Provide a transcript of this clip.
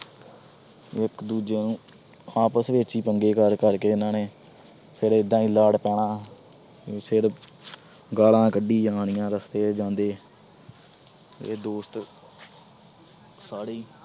ਇਕ ਦੂਜੇ ਨੂੰ ਆਪਸ ਵਿਚ ਹੀ ਪੰਗੇ ਕਰ-ਕਰ ਕੇ ਇਹਨਾਂ ਨੇ ਫਿਰ ਇਦਾਂ ਈ ਲੜ ਪੈਣਾ। ਫਿਰ ਗਾਲਾਂ ਕੱਢੀ ਜਾਣੀਆਂ ਰਸਤੇ ਚ ਜਾਂਦੇ। ਤੇ ਦੋਸਤ ਸਾਰੇ ਈ